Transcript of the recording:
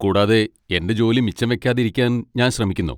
കൂടാതെ എന്റെ ജോലി മിച്ചംവെയ്കാതെ ഇരിക്കാൻ ഞാൻ ശ്രമിക്കുന്നു.